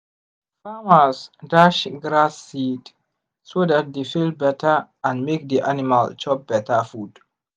farmers dash grass seed so dat the field better and make the animal chop better food.